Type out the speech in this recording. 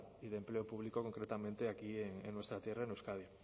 y de empleo público concretamente aquí en nuestra tierra en euskadi